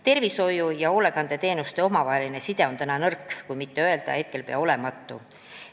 Tervishoiu- ja hoolekandeteenuste omavaheline side on nõrk, kui mitte öelda, et peaaegu olematu.